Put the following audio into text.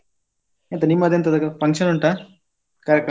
ಎಂತ ನಿಮ್ಮದೆಂತದು function ಉಂಟಾ ಕಾರ್ಯಕ್ರಮ?